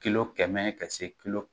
Ki kɛmɛ ka se kilo